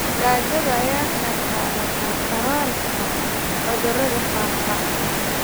Gaajada ayaa ka qayb qaadata kororka cudurrada faafa.